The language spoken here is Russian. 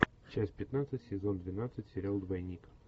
часть пятнадцать сезон двенадцать сериал двойник